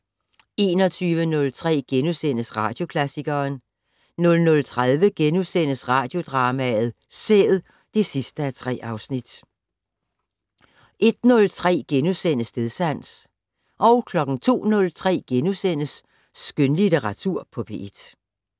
21:03: Radioklassikeren * 00:30: Radiodrama: Sæd (3:3)* 01:03: Stedsans * 02:03: Skønlitteratur på P1 *